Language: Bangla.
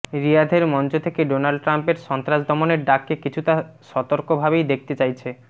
রিয়াধের মঞ্চ থেকে ডোনাল্ড ট্রাম্পের সন্ত্রাস দমনের ডাককে কিছুটা সতর্ক ভাবেই দেখতে চাইছে